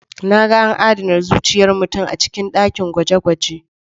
Na ga an adana zuciyar mutum a cikin dakin gwaje-gwaje.